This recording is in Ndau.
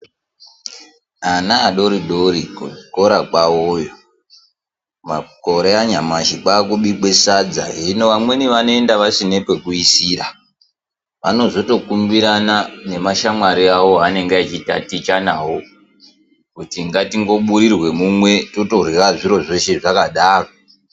Ana adoridori kuzvikora kwavoyo makore anyamashi kwakubikwa sadza hino vamweni vonoenda vasina pekuisira vanozotokumbirana nemashamwri avo avanenge vachitaticha navo kuti ngatingoburirwa mumwe totorya zviro zveshe zvakadaro.